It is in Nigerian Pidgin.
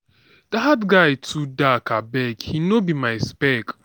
dat guy too dark abeg he no be my speck